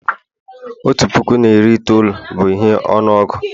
otu puku na iri itoolu bụ ihe ọnụọgụ